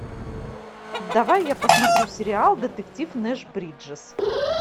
давай я посмотрю сериал детектив нэш бриджес